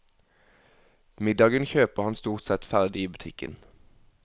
Middagen kjøper han stort sett ferdig i butikken.